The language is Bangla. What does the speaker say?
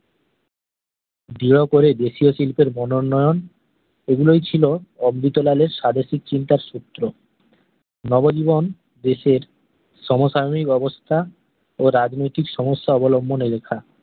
দিও করে দেশিও শিল্পের মন উন্নয়ন ঐ গুলোই ছিল অমৃত লালের স্বাদেশিক চিন্তার সূত্র নব জীবন দেশের সমসাময়িক অবস্থা ও রাজনৈতিক সমস্যা অবলম্বনে লেখা